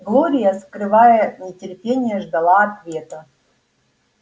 глория скрывая нетерпение ждала ответа